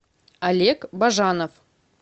олег бажанов